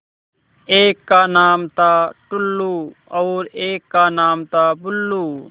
एक का नाम था टुल्लु और एक का नाम था बुल्लु